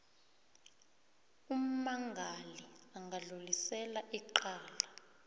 ummangali angadlulisela icala